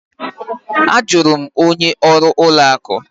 A jụrụ m onye ọrụ ụlọ akụ.